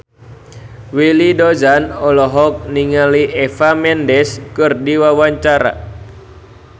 Willy Dozan olohok ningali Eva Mendes keur diwawancara